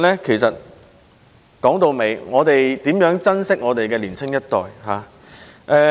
其實，說到底就是要珍惜年青一代。